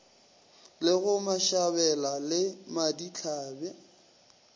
le go mashabela le madihlabe